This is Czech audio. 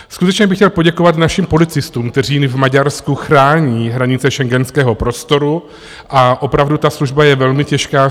Skutečně bych chtěl poděkovat našim policistům, kteří v Maďarsku chrání hranice schengenského prostoru, a opravdu ta služba je velmi těžká.